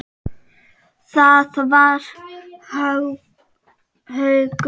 Það var Haukur.